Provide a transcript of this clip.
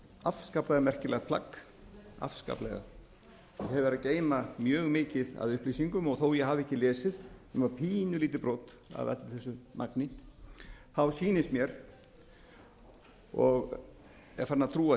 afskaplega merkilegt plagg afskaplega sem hefur að geyma mjög mikið af upplýsingum og þó ég hafi ekki lesið nema pínulítið brot af öllu þessu magni sýnist mér og er farinn að trúa því að